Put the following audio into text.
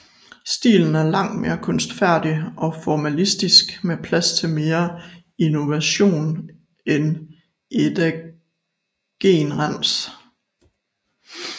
Stilen er langt mere kunstfærdig og formalistisk med plads til mere innovation end eddagenrens